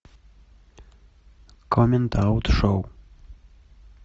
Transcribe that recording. коммент аут шоу